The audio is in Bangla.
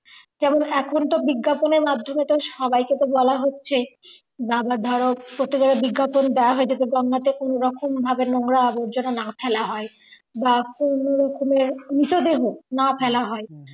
যেমন এখন তো বিজ্ঞাপনের মাধ্যমে তো সবাইকে তো বলা হচ্ছে বা আবার ধরো প্রত্যেকের বিজ্ঞাপন দেওয়া হয় যে গঙ্গাতে কোনোরকম ভাবে নোংরা আবর্জনা না ফেলা হয় বা কোনোরকমের মৃতদেহ না ফেলা হয়